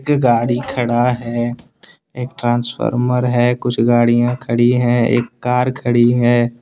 ये गाड़ी खड़ा है एक ट्रांसफार्मर है कुछ गाड़ियां खड़ी हैं एक कार खड़ी है।